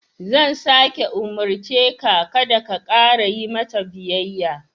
Zan sāke umurce ka, kada ka ƙara yi mata biyayya.